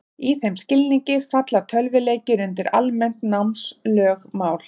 Í þeim skilningi falla tölvuleikir undir almennt námslögmál.